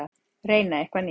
Reyna eitthvað nýtt.